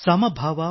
ಸಮಭಾವ